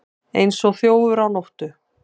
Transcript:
Eins og þjófur á nóttu